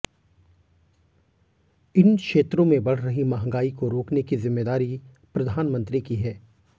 इन क्षेत्रों में बढ़ रही महंगाई को रोकने की जिम्मेदारी प्रधानमंत्री की है